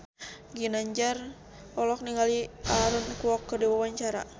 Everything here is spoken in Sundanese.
Ginanjar olohok ningali Aaron Kwok keur diwawancara